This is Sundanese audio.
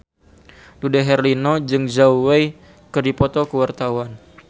Dude Herlino jeung Zhao Wei keur dipoto ku wartawan